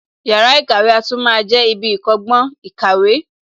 Yàrá ìkàwé a tún máa jẹ ibi ìkọ́gbọ́n / ìkàwé